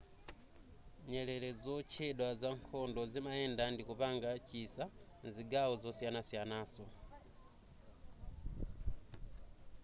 nyerere zotchedwa zankhondo zimayenda ndikupanga chisa mzigawo zoyisanasiyanaso